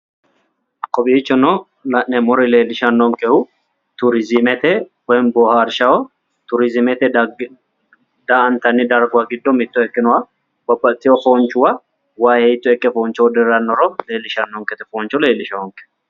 kowiichono la'neemmori leellishanonkehu turiizimete woyiimmi bohaarshaho turizimeete dhagge daa"antanni darguwa giddo babbaxxitino foonchuwa wayi hiitto ikke foonchoho diranoro fooncho leellishshannonkete